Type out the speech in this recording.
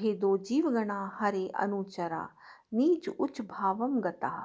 भेदो जीवगणा हरेरनुचरा नीचोच्चभावं गताः